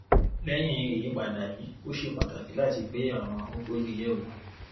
lẹ́yìn ìyípadà yìí ó ṣe pàtàkì láti gbé àwọn kókó yìí yẹ̀ wò.